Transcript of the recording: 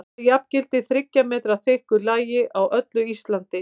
Það jafngildir þriggja metra þykku lagi á öllu Íslandi!